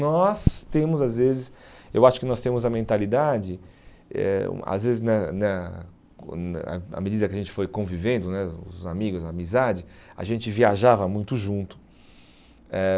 Nós temos, às vezes, eu acho que nós temos a mentalidade, eh às vezes, na na na à medida que a gente foi convivendo né, os amigos, a amizade, a gente viajava muito junto. Eh